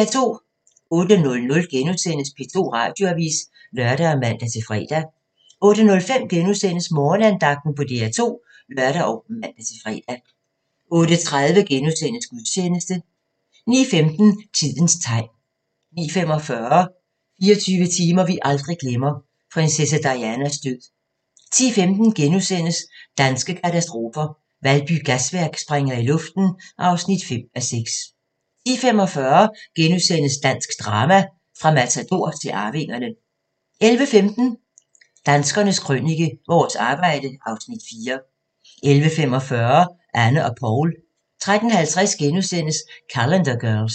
08:00: P2 Radioavis *(lør og man-fre) 08:05: Morgenandagten på DR2 *(lør og man-fre) 08:30: Gudstjeneste * 09:15: Tidens tegn 09:45: 24 timer vi aldrig glemmer: Prinsesse Dianas død 10:15: Danske katastrofer – Valby Gasværk springer i luften (5:6)* 10:45: Dansk drama – fra Matador til Arvingerne * 11:15: Danskernes Krønike – Vores arbejde (Afs. 4) 11:45: Anne og Paul 13:50: Calendar Girls *